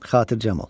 Xatircəm ol.